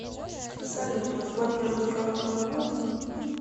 салют разблокировать карту возможно